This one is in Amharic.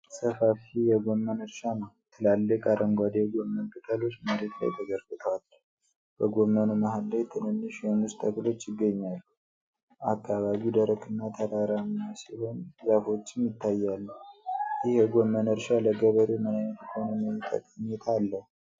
ሰፋፊ የጎመን እርሻ ነው። ትላልቅ አረንጓዴ የጎመን ቅጠሎች መሬት ላይ ተዘርግተዋል። በጎመኑ መሃል ላይ ትንንሽ የሙዝ ተክሎች ይገኛሉ። አካባቢው ደረቅ እና ተራራማ ሲሆን ዛፎችም ይታያሉ። ይህ የጎመን እርሻ ለገበሬው ምን ዓይነት ኢኮኖሚያዊ ጠቀሜታ አለው?